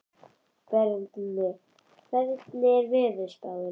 Berni, hvernig er veðurspáin?